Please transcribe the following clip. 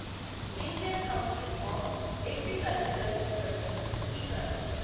Indian council of agricultural research Iker